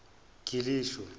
gilisho